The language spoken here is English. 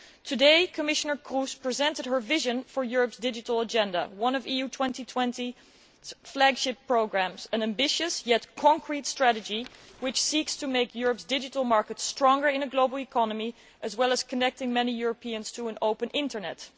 Today, Commissioner Kroes presented her vision for Europe's digital agenda, one of the EU 2020 flagship programmes. It is an ambitious yet concrete strategy which seeks to make Europe's digital market stronger in a global economy as well as connecting many Europeans to an open Internet.